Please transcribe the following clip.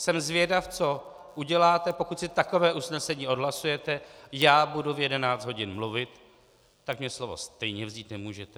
Jsem zvědav, co uděláte, pokud si takové usnesení odhlasujete, já budu v 11 hodin mluvit, tak mi slovo stejně vzít nemůžete.